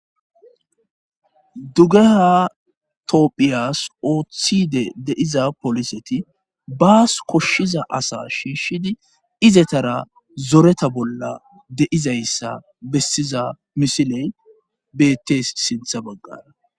dugeha toophiyas ooththidi de'iza poliseti baas koshshiza asa shiishshidi izetara zoreta bolla de'izayssa bessiza misiley bettes sinththa baggara.